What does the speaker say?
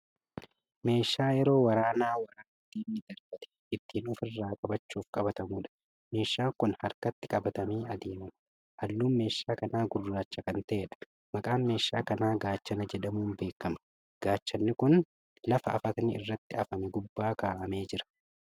Meeshaa yeroo waraanaa waraana diinni darbati ittiin ofirraa qabachuuf qabatamuudha. meeshaan Kuni harkatti qabatamee adeemama. halluun meeshaa kanaa gurraacha Kan ta'eedha. maqaan meeshaa kanaa gaachana jedhamuun beekama. gaachanni Kun lafa aftni irratti afame gubbaa kaa'amee Jira.